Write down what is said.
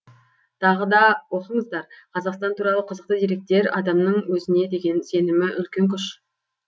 тағы да оқыңыздар қазақстан туралы қызықты деректер адамның өзіне деген сенімі үлкен күш